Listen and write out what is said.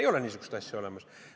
Ei ole niisugust asja olemas.